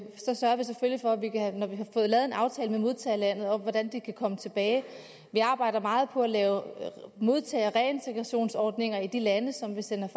få lavet en aftale med modtagerlandet om hvordan de kan komme tilbage vi arbejder meget på at lave modtage og reintegrationsordninger i de lande som vi sender